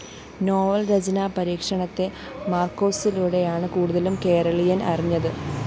novel‍ രചനാ പരീക്ഷണത്തെ മാര്‍ക്വേസിലൂടെയാണ് കൂടുതലും കേരളീയന്‍ അറിഞ്ഞത്